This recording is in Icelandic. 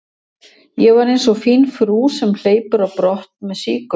Ég var einsog fín frú sem hleypur á brott með sígauna.